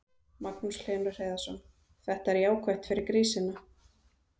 Magnús Hlynur Hreiðarsson: Þetta er jákvætt fyrir grísina?